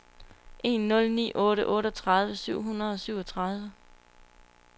en nul ni otte otteogtredive syv hundrede og syvogtredive